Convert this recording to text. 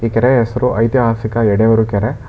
ಈ ಕೆರೆಯ ಹೆಸರು ಐತಿಹಾಸಿಕ ಎಡೆಯೂರು ಕೆರೆ.